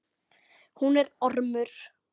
Hún er ormur.